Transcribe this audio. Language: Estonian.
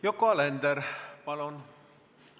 Yoko Alender, palun!